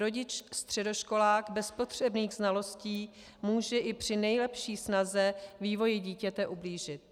Rodič-středoškolák bez potřebných znalostí může i při nejlepší snaze vývoji dítěte ublížit.